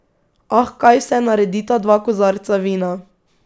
Ah, kaj vse naredita dva kozarca vina.